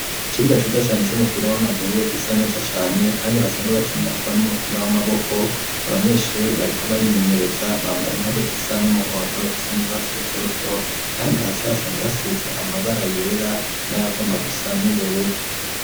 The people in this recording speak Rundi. Ikibuga ciza cane c'umupira w'amaguru gisa neza cane kandi basanzwe bakinirako umupira w'amaboko abanyeshuri bariko barimenyereza bambaye impuzu zisa n'umuhondo isa n'urwatsi rutoto kandi hasi hasanzwe hasize amabara yera nayagomba gusa n'ubururu